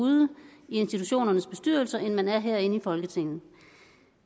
ude i institutionernes bestyrelser end man er herinde i folketinget